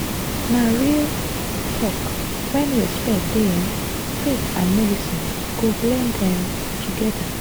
na real talk when respect dey um faith and medicine go blend well um together.